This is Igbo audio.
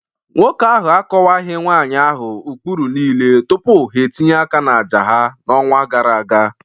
Nwoke ahụ akọwaghị nwanyị ahụ ụkpụrụ niile tupu ha etinye aka n'àjà ha n'ọnwa gara aga